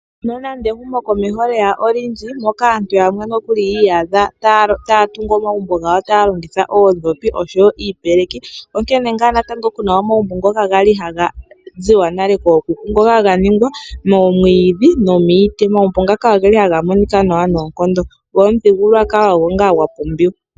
Nonando ehumokomeho lye ya olindji, moka aantu yamwe nokuli yi iyadha taya tungu omagumbo gawo taya longitha oondhopi noshowo iipeleki, onkene ngaa natango ku na omagumbo ngoka ga li haga ziwa nale kookuku, ngoka ga ningwa moomwiidhi nomiiti. Omagumbo ngaka ohaga monika nawa noonkondo, go omuthigululwakalo ogo ngaa gwa pumbiwa.